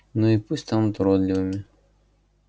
ну и пусть станут уродливыми